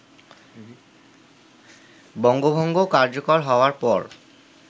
বঙ্গভঙ্গ কার্যকর হওয়ার পর